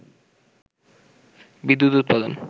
বিদ্যুৎ উৎপাদন